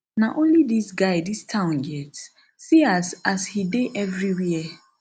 na only dis guy dis town get see as as he dey everywhere